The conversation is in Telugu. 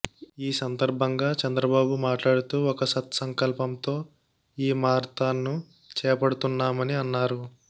ఈ సందర్భంగా చంద్రబాబు మాట్లాడుతూ ఒక సత్ సంకల్పంతో ఈ మారథాన్ను చేపడుతున్నామని అన్నారు